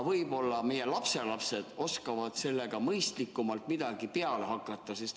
Võib-olla meie lapselapsed oskavad sellega midagi mõistlikku peale hakata.